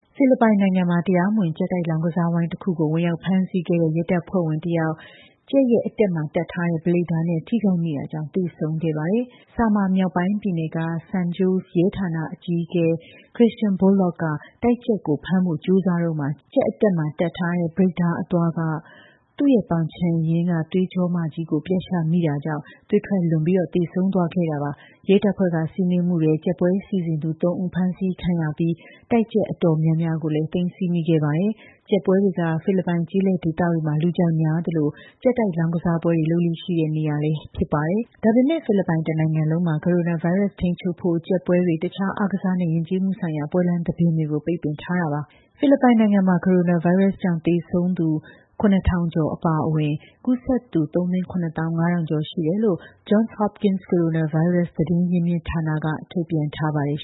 ဖိလစ်ပိုင်နိုင်ငံမှာ တရားမဝင် ကြက်တိုက် လောင်းကစားဝိုင်းတခုကို ဝင်ရောက်ဖမ်းဆီးခဲ့တဲ့ ရဲတပ်ဖွဲ့ဝင်တစ်ယောက် ကြက်အတက်မှာ တပ်ထားတဲ့ ဘလိတ်ဓားနဲ့ ထိခိုက်မိတာကြောင့် သေဆုံးသွားခဲ့ရပါတယ်။ Samar မြောက်ပိုင်းပြည်နယ်က San Jose ရဲဌာနအကြီးအကဲ Christian Bolok က တိုက်ကြက်ကို ဖမ်းဖို့ ကြိုးစားတုန်း ကြက်အတက်မှာ တပ်ထားတဲ့ ဘလိတ်ဓားအသွားက သူ့ရဲ့ ပေါင်ခြံရင်းက သွေးကြောမကြီးကို ပြတ်ရှမိတာကြောင့် သွေးထွက်လွန် သေဆုံးသွားခဲ့တာပါ။ ရဲတပ်ဖွဲ့က စီးနင်းမှုထဲ ကြက်ပွဲ စီစဉ်သူ ၃ ဦး ဖမ်းဆီးခံရပြီး တိုက်ကြက်တော်တော်များများကိုလည်း သိမ်းဆည်းမိခဲ့ပါတယ်။ ကြက်ပွဲတွေက ဖိလစ်ပိုင် ကျေးလက်ဒေသတွေမှာ လူကြိုက်များသလို ကြက်တိုက် လောင်းကစားပွဲတွေ လုပ်လေ့ရှိတဲ့နေရာလည်း ဖြစ်ပါတယ်။ ဒါပေမဲ့ ဖိလစ်ပိုင် တစ်နိုင်ငံလုံးမှာ ကိုရိုနာဗိုင်းရပ်စ် ထိန်းချုပ်ဖို့ ကြက်ပွဲတွေ၊ တခြား အားကစားနဲ့ ယဉ်ကျေးမှုဆိုင်ရာ ပွဲလမ်းသဘင်တွေကို ပိတ်ပင်ထားတာပါ။ ဖိလစ်ပိုင်နိုင်ငံမှာ ကိုရိုနာဗိုင်းရပ်စ်ကြောင့် သေဆုံးသူ ၇,၁၁၄ ဦး အပါအဝင် ကူးစက်သူ ၃၇၅,၀၀၀ ကျော်ရှိတယ်လို့ Johns Hopkins ကိုရိုနာ ဗိုင်းရပ်စ် သတင်းရင်းမြစ်ဌာနက ထုတ်ပြန်ထားပါတယ်